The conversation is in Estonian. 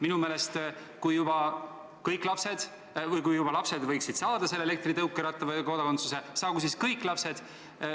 Minu meelest on nii, et kui põhimõtteliselt lapsed võivad saada elektritõukeratta või kodakondsuse, siis saagu kõik lapsed.